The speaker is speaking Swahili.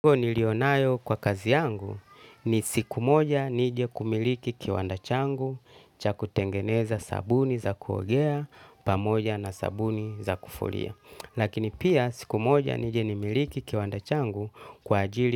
Huo niliyonayo kwa kazi yangu ni siku moja nije kumiliki kiwanda changu cha kutengeneza sabuni za kuogea pamoja na sabuni za kufulia. Lakini pia siku moja nije nimiliki kiwanda changu kwa ajili.